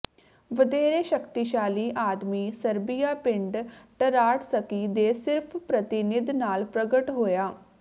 ਵਧੇਰੇ ਸ਼ਕਤੀਸ਼ਾਲੀ ਆਦਮੀ ਸਰਬੀਆ ਪਿੰਡ ਟਰਾਟਸਕੀ ਦੇ ਸਿਰਫ ਪ੍ਰਤੀਨਿਧ ਨਾਲ ਪ੍ਰਗਟ ਹੋਇਆ